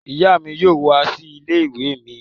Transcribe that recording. Ìyá mi yóò wá sí ilé-ìwé mi.